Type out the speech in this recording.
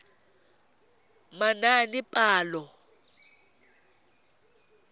manaanepalo